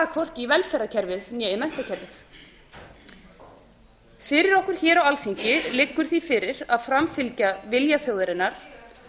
hvorki í velferðarkerfið né í menntakerfið fyrir okkur á alþingi liggur fyrir að framfylgja vilja þjóðarinnar